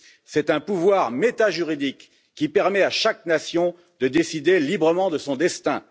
C'est un pouvoir métajuridique qui permet à chaque nation de décider librement de son destin.